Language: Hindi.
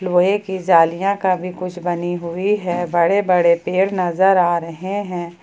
लोहे की जालियां का भी कुछ बनी हुई है बड़े बड़े पेड़ नजर आ रहे हैं।